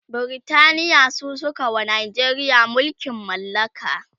Britaniya su sukawa Najeriya mulkin mallaka